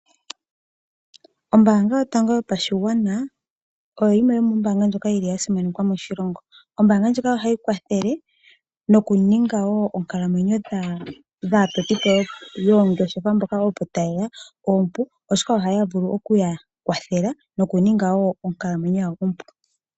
Ombaanga yotango yopashigwana oyo yimwe yomombaanga ndjoka yili simanekwa moshilongo, ombaanga ndjika ohayi kwathele noku ninga wo oonkalamwenyo dhaatotipo yoongeshefa mboka opo ta yeya oompu, oshoka ohaya vulu okuya kwathela noku ninga wo onkalamwenyo yawo ompu.